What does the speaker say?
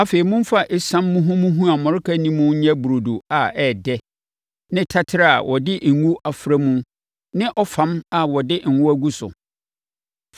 afei momfa esiam muhumuhu a mmɔreka nni mu nyɛ burodo a ɛyɛ dɛ ne taterɛ a wɔde ngo afra ne ɔfam a wɔde ngo agu so.